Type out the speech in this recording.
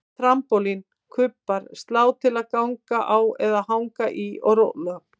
Trampólín, kubbar, slá til að ganga á eða hanga í og róla